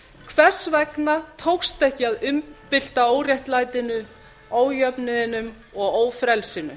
hvers vegna tókst ekki að umbylta óréttlætinu ójöfnuðinum og ófrelsinu